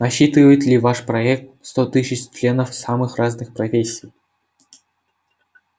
насчитывает ли ваш проект сто тысяч членов самых разных профессий